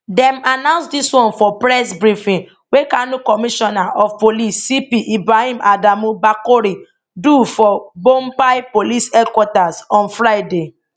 dem announce dis one for press briefing wey kano commissioner of police cp ibrahim adamu bakori do for bompai police headquarters on friday